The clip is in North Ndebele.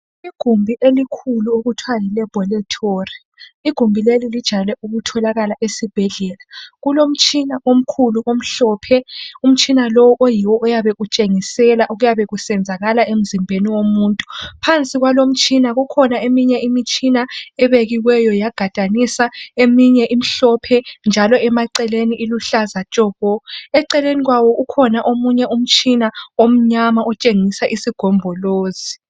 Igumbi elikhulu okuthiwa yilaboratory .Igumbi leli lijayele ukutholakala esibhedlela .Kulomtshina omkhulu omhlophe .Umtshina lowu oyiwo oyabe utshengisela okuyabe kusenzakala emzimbeni womuntu .Phansi kwalo mtshina kukhona eminye imitshina ebekiweyo yagadaniswa .Eminye imhlophe njalo emaceleni iluhlaza tshoko .Eceleni kwawo ukhona omunye umtshina omnyama otshengisa isigombolozi .